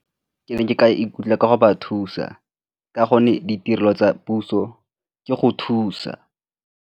Ke ne ke ka ikutlwa ka go ba thusa ka gonne ditirelo tsa puso ke go thusa.